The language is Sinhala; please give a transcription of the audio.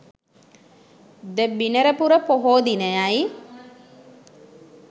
ද බිනරපුර පොහෝ දිනයයි.